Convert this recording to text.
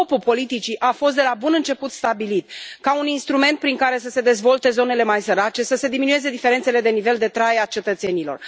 Scopul politicii a fost de la bun început stabilit ca un instrument prin care să se dezvolte zonele mai sărace, să se diminueze diferențele de nivel de trai al cetățenilor.